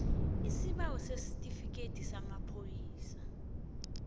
isibawo sesitifikhethi samapholisa